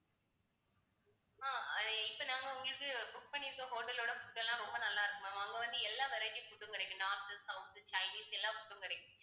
ஆஹ் அஹ் இப்ப நாங்க உங்களுக்கு book பண்ணி இருக்க hotel ஓட food எல்லாம் ரொம்ப நல்லா இருக்கும் ma'am அங்க வந்து எல்லா variety food உம் கிடைக்கும் north, south, chinese எல்லா food உம் கிடைக்கும்.